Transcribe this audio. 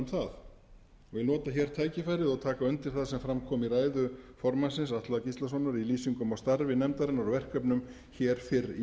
vil nota hér tækifærið og taka undir það sem fram kom í ræðu formannsins atla gíslasonar í lýsingum á starfi nefndarinnar og verkefnum hér fyrr í